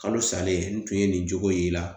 Kalo salen n tun ye nin cogo y'i la